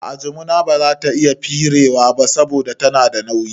A'a, jimina bazata iya firewa ba saboda tana da nauyi